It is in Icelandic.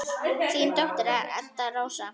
Þín dóttir, Edda Rósa.